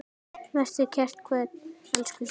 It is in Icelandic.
Vertu kært kvödd, elsku systir.